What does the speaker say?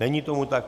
Není tomu tak.